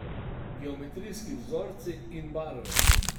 Geometrijski vzorci in barve.